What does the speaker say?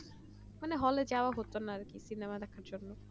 মানে Hale যাওয়া হতো না আরকি সিনেমা দেখার জন্য